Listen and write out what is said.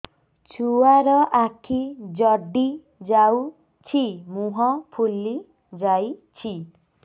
ଛୁଆର ଆଖି ଜଡ଼ି ଯାଉଛି ମୁହଁ ଫୁଲି ଯାଇଛି